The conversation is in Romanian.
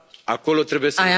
Acolo trebuie